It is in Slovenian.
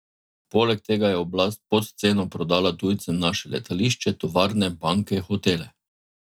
Poleg tega je oblast pod ceno prodala tujcem naše letališče, tovarne, banke, hotele...